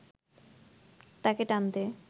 তাকে টানতে